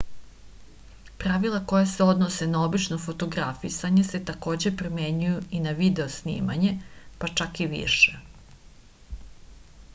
pravila koja se odnose na obično fotografisanje se takođe primenjuju i na video snimanje pa čak i više